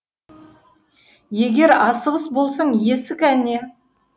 егер асығыс болсаң есік әне